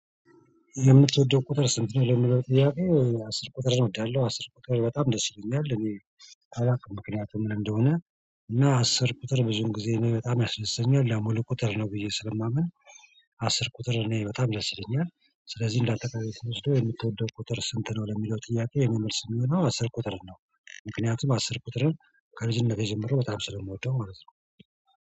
የምትወደው ቁጥር ስንት ነው? የምትወደው እያሉ አስር ቁጥር እወዳለሁ አስር ቁጥር በጣም ደስ ይለኛል። እኔ አላውቅም ምክንያቱም ምን እንደሆነ። እና አስር ቁጥር ብዙን ጊዜ በጣም ያስደስተኛል ያው ሁለት ቁጥር ነው ብዬ ስለማምን። አስር ቁጥር እኔ በጣም ላይ ችለኛል። ስለዚህ እንዳተቃረገ ስትወስደው የምትወደው ቁጥር ስንት ነው? ለሚለው ጥያቄ የኔ መልስ የሚሆነው አስር ቁጥር ነው። ምክንያቱም አስር ቁጥርን ከልጅነቴ ጀምሮ በጣም ስለምወደው ማለት ነው